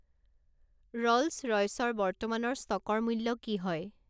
Rolls ৰইচৰ বৰ্তমানৰ ষ্টকৰ মূল্য কি হয়